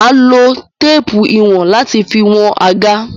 Mà á lo téépù ìwọ̀n láti fi wọn àga.